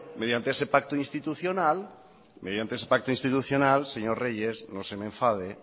mediante ese pacto institucional señor reyes no se me enfade